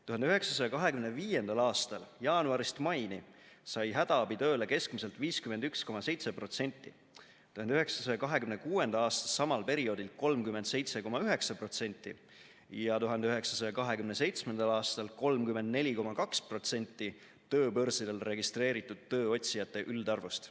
1925. aastal jaanuarist maini sai hädaabitööle keskmiselt 51,7%, 1926. aasta samal perioodil 37,9% ja 1927. aastal 34,2% tööbörsidel registreeritud tööotsijate üldarvust.